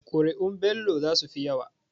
Kuri'un Bello zasu fi yawa.